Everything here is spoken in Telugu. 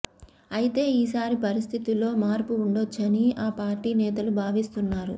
అయితే ఈ సారి పరిస్థితిలో మార్పు ఉండొచ్చని ఆ పార్టీ నేతలు భావిస్తున్నారు